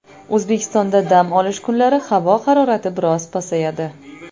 O‘zbekistonda dam olish kunlari havo harorati biroz pasayadi.